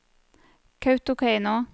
Kautokeino